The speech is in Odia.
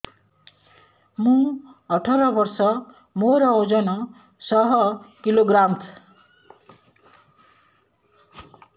ମୁଁ ଅଠର ବର୍ଷ ମୋର ଓଜନ ଶହ କିଲୋଗ୍ରାମସ